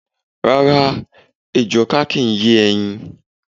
Rá́rá, ejò ọká kì í yé ẹyin.